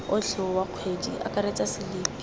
otlhe wa kgwedi akaretsa selipi